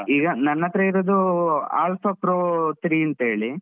ಈಗ ನನ್ನತ್ರ ಇರುದೂ Alpha Pro three ಅಂತ್ ಹೇಳಿ.